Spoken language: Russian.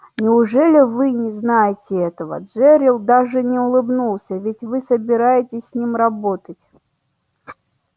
неужели вы не знаете этого джерилл даже не улыбнулся ведь вы собираетесь с ним работать